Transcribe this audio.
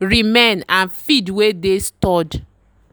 remain and feed wey dey stored.